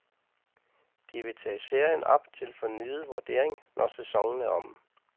De vil tage serien op til fornyet vurdering, når sæsonen er omme.